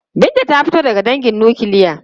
Binta ta fito daga dangin nukiliya.